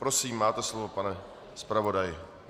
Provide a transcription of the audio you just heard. Prosím, máte slovo, pane zpravodaji.